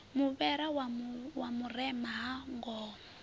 muvhera wa vhurema ha ngoho